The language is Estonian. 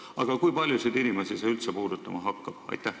Aga kui paljusid inimesi see üldse puudutama hakkab?